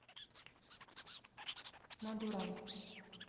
мадурай